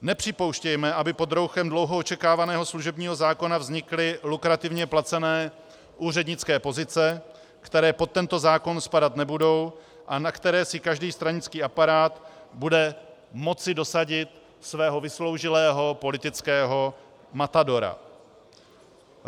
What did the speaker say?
Nepřipouštějme, aby pod rouchem dlouho očekávaného služebního zákona vznikly lukrativně placené úřednické pozice, které pod tento zákon spadat nebudou a na které si každý stranický aparát bude moci dosadit svého vysloužilého politického matadora.